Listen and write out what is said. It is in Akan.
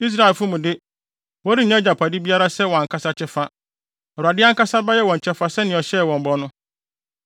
Israelfo mu de, wɔrennya agyapade biara sɛ wɔn ankasa kyɛfa. Awurade ankasa bɛyɛ wɔn kyɛfa sɛnea ɔhyɛɛ wɔn bɔ no.